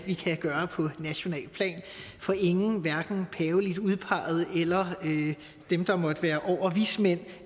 vi kan gøre på nationalt plan for ingen hverken paveligt udpegede eller dem der måtte være over vismænd